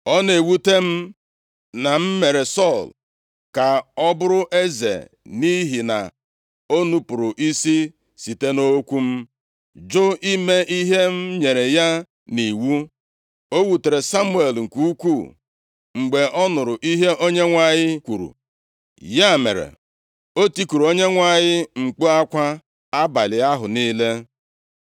“Ọ na-ewute m na m mere Sọl ka ọ bụrụ eze, nʼihi na o nupuru isi site nʼokwu m, jụ ime ihe m nyere ya nʼiwu.” O wutere Samuel nke ukwuu mgbe ọ nụrụ ihe Onyenwe anyị kwuru. Ya mere, o tikuru Onyenwe anyị mkpu akwa abalị ahụ niile.